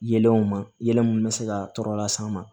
Yeelenw ma yelen minnu bɛ se ka tɔɔrɔ las'an ma